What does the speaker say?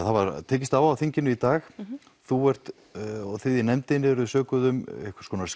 það var tekist á á þinginu í dag þú og þið í nefndinni eru sökuð um einhvers konar